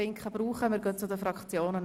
Wir kommen zu den Fraktionen.